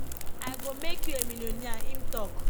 i go make you a millionaire im tok